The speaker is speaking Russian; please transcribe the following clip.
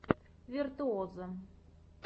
виртуозо